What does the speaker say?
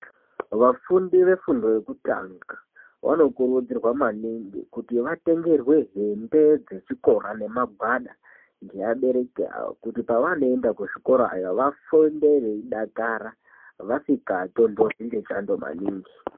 Vafundi vefundo yekutanga vanokurudzirwa maningi kuti vatengerwe hembe dzechikora nemagwada ngeabereki avo kuti pavanoenda kuzvikora vaende veidakara vasikatontorwi ngechando maningi.